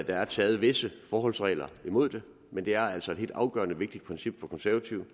der er taget visse forholdsregler imod det men det er altså et helt afgørende vigtigt princip for konservative